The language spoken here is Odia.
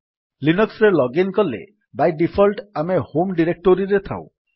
ଲିନକ୍ସ୍ ରେ ଲଗ୍ଇନ୍ କଲେ ବାଇ ଡିଫଲ୍ଟ୍ ଆମେ ହୋମ୍ ଡିରେକ୍ଟୋରୀରେ ଥାଉ